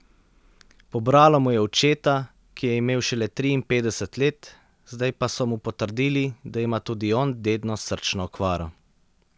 Pobralo mu je očeta, ki je imel šele triinpetdeset let, zdaj pa so mu potrdili, da ima tudi on dedno srčno okvaro.